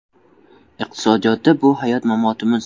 Iqtisodiyotda bu hayot-mamotimiz.